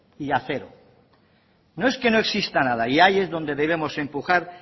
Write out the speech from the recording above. y acero no es que no exista nada y ahí es donde debemos empujar